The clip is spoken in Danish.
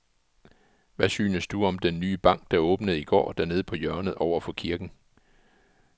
Hvad synes du om den nye bank, der åbnede i går dernede på hjørnet over for kirken?